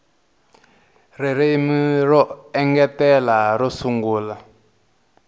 ririmi ro engetela ro sungula